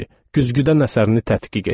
Güzgüdən əsərini tədqiq etdi.